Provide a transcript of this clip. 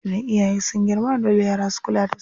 Idan iyaye sun girma, dole yara su kula da su.